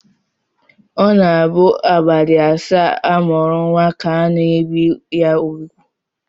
Ọ na-abụ abalị asaa a mụrụ nnwa ka a na-ebi ya úgwù